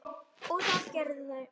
og það gerðu þau.